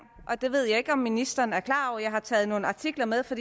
det ved jeg ikke om ministeren er klar over jeg har taget nogle artikler med for